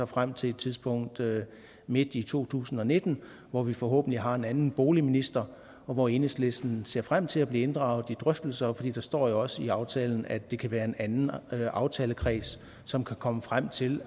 frem til et tidspunkt midt i to tusind og nitten hvor vi forhåbentlig har en anden boligminister og hvor enhedslisten ser frem til at blive inddraget i drøftelser for der står jo også i aftalen at det kan være en anden aftalekreds som kan komme frem til